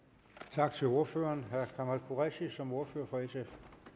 tak til ordføreren herre kamal qureshi som ordfører for sf